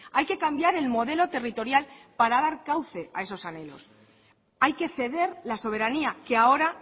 hay que cambiar el modelo territorial para dar cauce a esos anhelos hay que ceder la soberanía que ahora